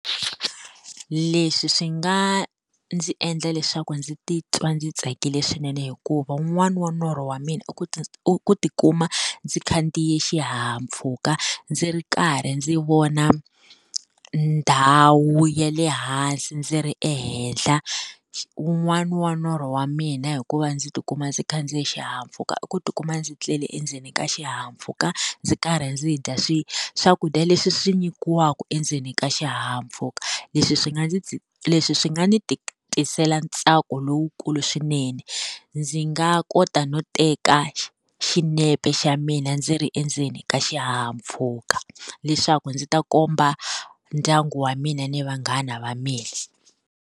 Leswi swi nga ndzi endla leswaku ndzi titwa ndzi tsakile swinene hikuva wun'wani wa norho wa mina i ku i ku ti kuma, ndzi khandziye xihahampfhuka ndzi ri karhi ndzi vona ndhawu ya le hansi ndzi ri ehenhla. Wun'wani wa norho wa mina hi ku va ndzi ti kuma ndzi khandziye xihahampfhuka i ku ti kuma ndzi tlele endzeni ka xihahampfhuka, ndzi karhi ndzi dya swi swakudya leswi swi nyikiwaku endzeni ka xihahampfhuka. Leswi swi nga ndzi leswi swi nga ni tisela ntsako lowukulu swinene. Ndzi nga kota no teka xinepe xa mina ndzi ri endzeni ka xihahampfhuka leswaku ndzi ta komba ndyangu wa mina ni vanghana va mina.